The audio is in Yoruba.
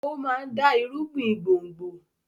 ó máa ń dá irúgbìn gbòngbò.